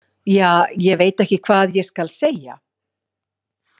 Ja, ég veit ekki hvað ég skal segja.